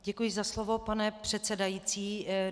Děkuji za slovo, pane předsedající.